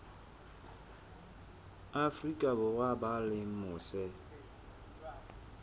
afrika borwa ba leng mose